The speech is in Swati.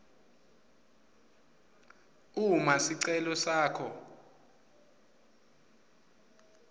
uma sicelo sakho